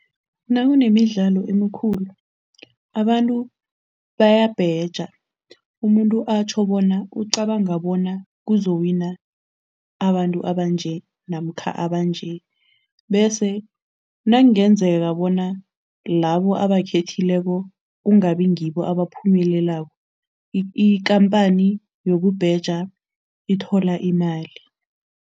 Nakunemidlalo emikhulu abantu bayabheja, umuntu atjho bona ucabanga bona kuzowina abantu abanje namkha abanje bese nakungenzeka bona labo abakhethileko kungabi ngibo abaphumelelako, ikhamphani yokubheja ithola imali.